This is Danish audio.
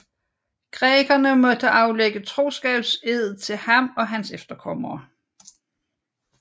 Grækerne måtte aflægge troskabsed til ham og hans efterkommere